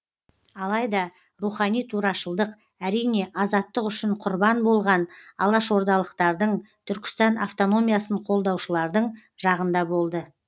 алайда рухани турашылдық әрине азаттық үшін құрбан болған алашордалықтардың түркістан автономиясын қолдаушылардың жағында болды